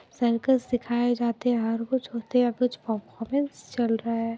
Circus सिखाये जाते हर कुछ होते हैं कुछ परफॉरमेंस चल रहा हैं।